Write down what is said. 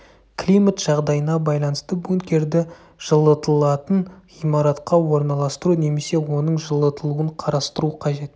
климат жағдайына байланысты бункерді жылытылатын ғимаратқа орналастыру немесе оның жылытылуын қарастыру қажет